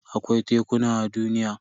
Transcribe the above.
Akwai tekuna a duniya.